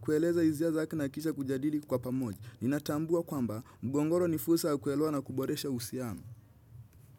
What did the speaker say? kueleza isia zake na kisha kujadili kwa pamoja. Ninatambua kwamba mgongoro ni fursa ya kuelewa na kuboresha uhusiano.